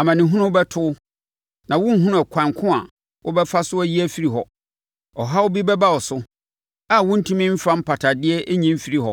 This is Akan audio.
Amanehunu bɛto wo, na worenhunu ɛkwan ko a wobɛfa so ayi afiri hɔ. Ɔhaw bi bɛba wo so a worentumi mfa mpatadeɛ nyi mfiri hɔ;